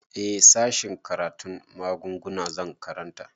Eh sashen karatun magunguna zan karanta